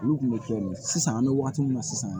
Olu kun bɛ kɛ sisan an bɛ wagati min na sisan